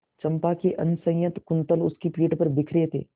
चंपा के असंयत कुंतल उसकी पीठ पर बिखरे थे